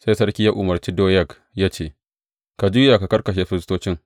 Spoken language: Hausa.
Sai sarki ya umarce Doyeg ya ce, Ka juya ka kakkashe firistocin.